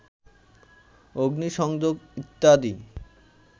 অগ্নিসংযোগ ইত্যাদি